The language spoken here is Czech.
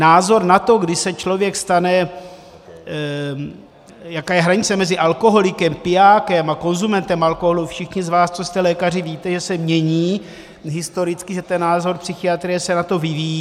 Názor na to, kdy se člověk stane - jaká je hranice mezi alkoholikem, pijákem a konzumentem alkoholu, všichni z vás, co jste lékaři, víte, že se mění, historicky, že ten názor psychiatrie se na to vyvíjí.